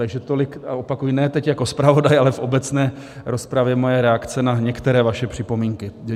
Takže tolik, a opakuji, ne teď jako zpravodaj, ale v obecné rozpravě moje reakce na některé vaše připomínky.